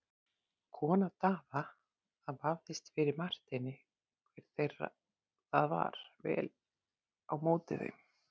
Kona Daða, það vafðist fyrir Marteini hver þeirra það var, tók vel á móti þeim.